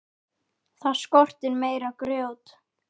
Það skorti meira grjót.